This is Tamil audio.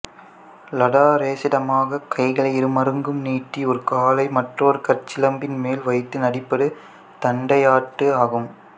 லதாரேசிதமாகக் கைகளை இருமருங்கும் நீட்டி ஒரு காலை மற்றொரு காற்சிலம்பின் மேல் வைத்து நடிப்பது தண்டையாட்டு ஆகும்